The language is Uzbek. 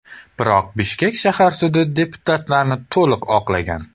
Biroq Bishkek shahar sudi deputatlarni to‘liq oqlagan.